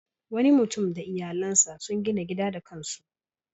Wani mutum da iyalansa sun gina gida da kan su.